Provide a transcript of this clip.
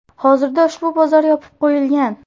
Hozirda ushbu bozor yopib qo‘yilgan.